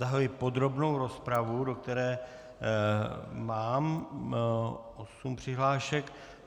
Zahajuji podrobnou rozpravu, do které mám osm přihlášek.